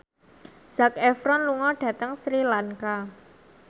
Zac Efron lunga dhateng Sri Lanka